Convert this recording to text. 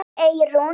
Þín Eyrún.